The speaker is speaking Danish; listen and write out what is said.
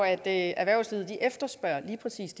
at erhvervslivet lige præcis